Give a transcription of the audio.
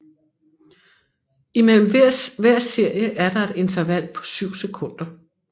I mellem hver serie er der et interval på syv sekunder